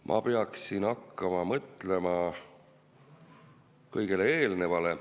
Ma peaksin hakkama mõtlema kõigele eelnevale.